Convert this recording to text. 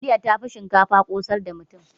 Taliya yafi shinkafa ƙosar da mutum.